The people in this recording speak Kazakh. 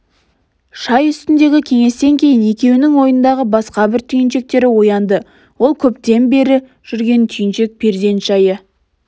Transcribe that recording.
шай үстіндегі кеңестен кейін екеуінің ойындағы басқа бір түйіншектері оянды ол көптен бері жүрген түйіншек перзент жайы